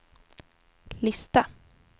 lista